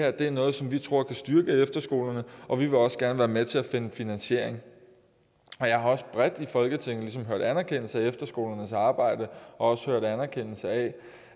at det er noget som de tror kan styrke efterskolerne og de vil også gerne være med til at finde finansiering jeg har også bredt i folketinget ligesom hørt anerkendelse af efterskolernes arbejde og også hørt anerkendelse af